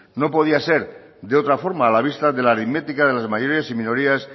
no podía ser de otra forma a la vista de la aritmética de las mayorías y minorías